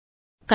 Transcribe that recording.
control